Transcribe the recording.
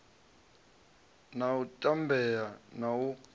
na u tambea na u